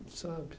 Não sabe.